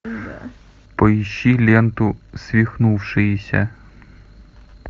поищи ленту свихнувшиеся